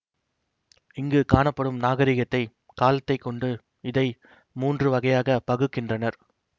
இங்கு காணப்படும் நாகரிகத்தை காலத்தை கொண்டு இதை மூன்று வகையாக பகுக்கின்றனர்